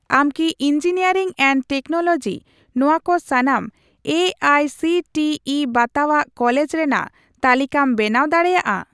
ᱟᱢ ᱠᱤ engineering and technology ᱱᱚᱣᱟ ᱠᱚ ᱥᱟᱱᱟᱢ A I C T E ᱵᱟᱛᱟᱣᱟᱜ ᱠᱚᱞᱮᱡᱽ ᱨᱮᱱᱟᱜ ᱛᱟᱞᱤᱠᱟᱢ ᱵᱮᱱᱟᱣ ᱫᱟᱲᱮᱭᱟᱜᱼᱟ ᱾